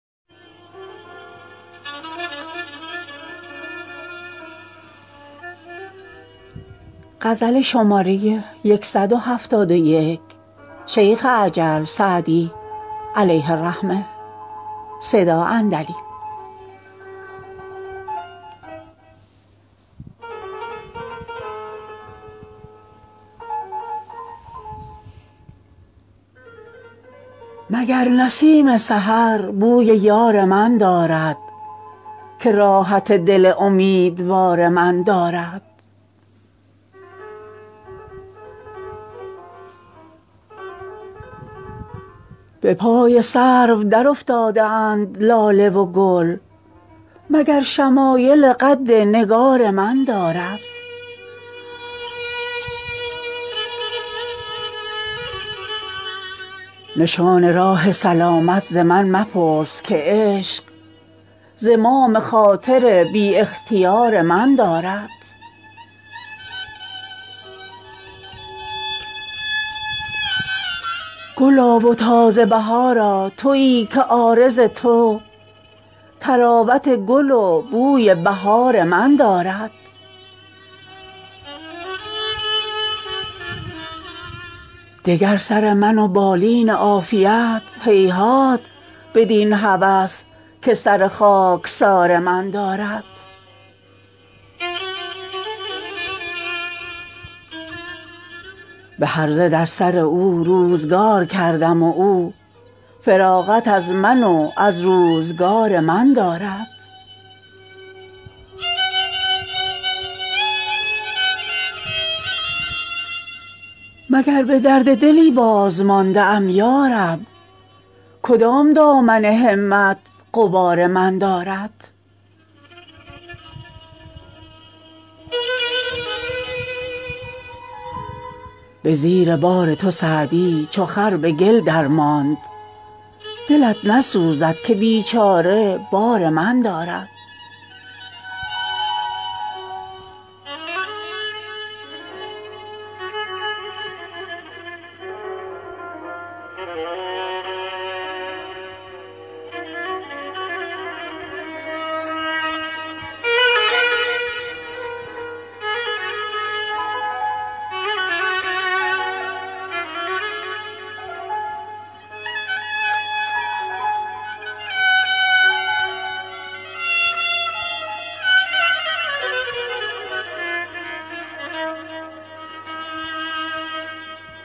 مگر نسیم سحر بوی یار من دارد که راحت دل امیدوار من دارد به پای سرو درافتاده اند لاله و گل مگر شمایل قد نگار من دارد نشان راه سلامت ز من مپرس که عشق زمام خاطر بی اختیار من دارد گلا و تازه بهارا تویی که عارض تو طراوت گل و بوی بهار من دارد دگر سر من و بالین عافیت هیهات بدین هوس که سر خاکسار من دارد به هرزه در سر او روزگار کردم و او فراغت از من و از روزگار من دارد مگر به درد دلی بازمانده ام یا رب کدام دامن همت غبار من دارد به زیر بار تو سعدی چو خر به گل درماند دلت نسوخت که بیچاره بار من دارد